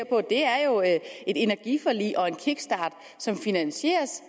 et energiforlig og en kickstart som finansieres